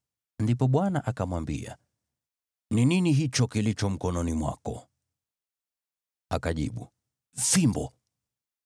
Ndipo Bwana akamwambia, “Ni nini hicho kilicho mkononi mwako?” Akajibu, “Fimbo.”